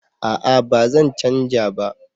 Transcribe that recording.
a'a ba zan canja ba